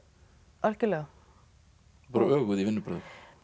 algjörlega öguð í vinnubrögðum